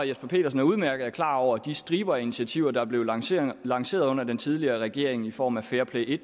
jesper petersen er udmærket klar over den stribe af initiativer der blev lanceret lanceret under den tidligere regering i form af fairplay i